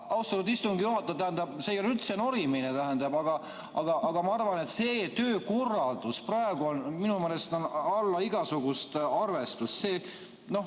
Austatud istungi juhataja, see ei ole üldse norimine, aga ma arvan, et praegune töökorraldus on alla igasugust arvestust.